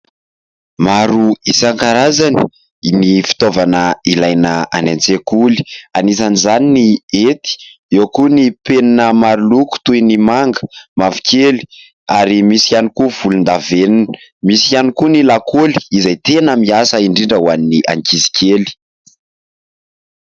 Maro isan-karazany ny fitaovana ilaina any an-tsekoly, anisan' izany ny hety eo koa ny penina maro loko toy ny manga, mavokely ary misy ihany koa volon-davenona misy ihany koa ny lakaoly izay tena miasa indrindra ho an'ny ankizy kely.